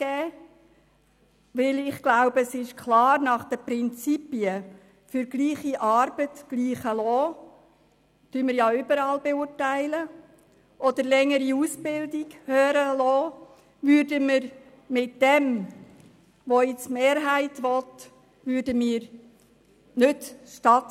Den Prinzipien «gleicher Lohn für gleiche Arbeit» oder «höherer Lohn für längere Ausbildung» würde man mit der Forderung der Mehrheit nicht gerecht.